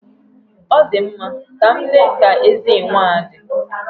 Ọ dị mma, ka m lee ka eze enwe a dị.